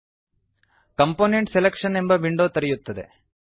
component selection component selection ಎಂಬ window ತೆರೆಯುತ್ತದೆ